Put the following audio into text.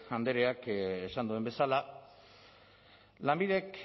andreak esan duen bezala lanbidek